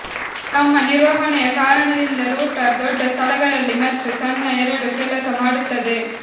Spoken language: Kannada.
ತಮ್ಮ ನಿರ್ವಹಣೆಯ ಕಾರಣದಿಂದ ರೂಟರ್ ದೊಡ್ಡ ಸ್ಥಳಗಳಲ್ಲಿ ಮತ್ತು ಸಣ್ಣ ಎರಡೂ ಕೆಲಸ ಮಾಡುತ್ತದೆ